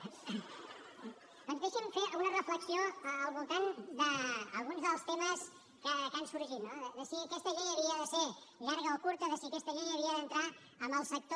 doncs deixi’m fer una reflexió al voltant d’alguns dels temes que han sorgit no de si aquesta llei havia de ser llarga o curta de si aquesta llei havia d’entrar en el sector